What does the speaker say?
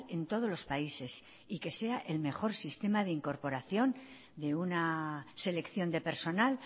en todos los países y que sea el mejor sistema de incorporación de una selección de personal